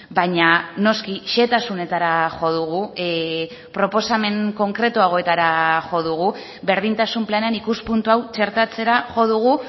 baina noski xehetasunetara jo dugu proposamen konkretuagoetara jo dugu berdintasun planean ikuspuntu hau txertatzera jo dugu